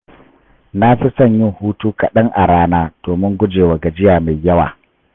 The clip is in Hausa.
Na fi son yin hutu kaɗan a rana domin gujewa gajiya mai yawa.